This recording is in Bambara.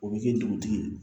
O bɛ kɛ dugutigi ye